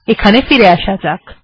এখানে ফিরে আসা যাক